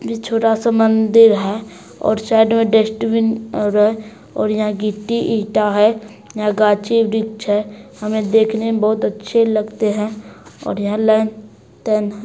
छोटा सा मंदिर है और साइड में डस्टबीन और है और यहाँ गिटी इटा है और यहाँ गाछी वृक्ष है हमें देखने में बहुत अच्छे लगते है और यहाँ लाल- टेन है।